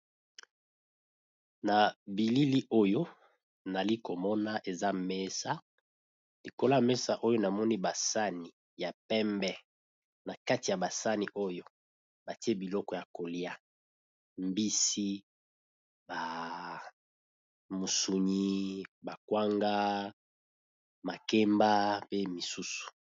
Mesa ya kitoko etandami na bileyi. Basani eza bongo na mbisi ba kalinga, sani mususu eza na kwanga, makemba na soso ba tumba.